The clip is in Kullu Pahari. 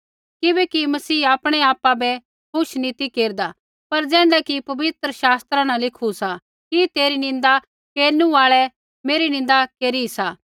किबैकि मसीह आपणैआपा बै खुश नी ती केरदा पर ज़ैण्ढा कि पवित्रशात्रा न लिखू सा कि तेरी निंदा केरनु आल़ै मेरी निंदा केरी सा